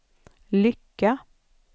lycka